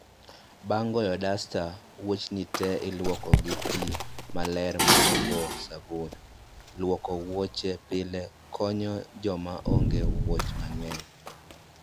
Bang' goyo dasta, wuochni te iluoko gi pi maler ma ogo sabun, luoko wuoche pile konyo joma onge wuoch mang'eny